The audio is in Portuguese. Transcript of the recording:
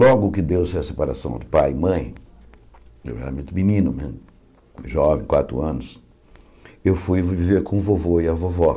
Logo que deu-se a separação do pai e mãe, eu era muito menino né, jovem, quatro anos, eu fui viver com o vovô e a vovó.